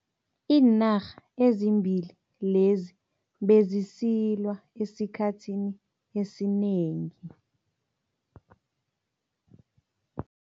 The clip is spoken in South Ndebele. Iinarha ezimbili lezi bezisilwa esikhathini esinengi.